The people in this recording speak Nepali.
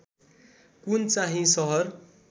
कुन चाहिँ सहर